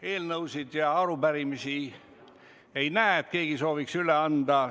Eelnõude ja arupärimiste üleandmise soovi ei näe, keegi ei soovi neid üle anda.